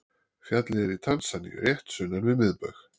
Fjallið er í Tansaníu rétt sunnan við miðbaug.